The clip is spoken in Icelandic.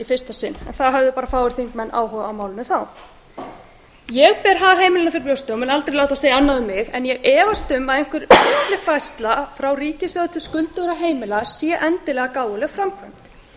fyrsta sinn þá höfðu bara fáir áhuga á málinu ég ber hag heimilanna fyrir brjósti og mun aldrei láta segja annað um en ég efast um að einhver millifærsla frá ríkissjóði til skuldugra heimila sé endilega gáfuleg framkvæmd